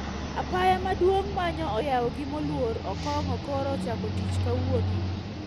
Apaya maduong` manyo oyao gi moluor Okong`o koro ochako tich kawuono